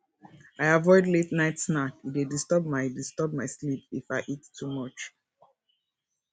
i avoid la ten ight snack e dey disturb my disturb my sleep if i eat too much